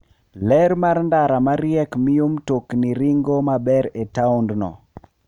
Ler mar ndara ma riek miyo mtokni ringo maber e taondno.